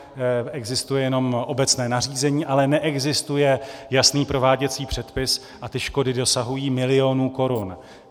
Existuje jenom obecné nařízení, ale neexistuje jasný prováděcí předpis, a ty škody dosahují milionů korun.